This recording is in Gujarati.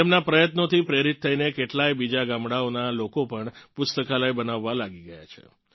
તેમનાં પ્રયત્નોથી પ્રેરીત થઇને કેટલાંય બીજાં ગામડાંઓનાં લોકો પણ પુસ્તકાલય બનાવવાં લાગી ગયા છે